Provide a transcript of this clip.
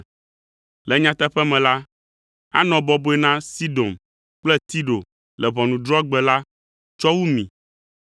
Le nyateƒe me la, anɔ bɔbɔe na Sidon kple Tiro le ʋɔnudrɔ̃gbe la tsɔ wu mi!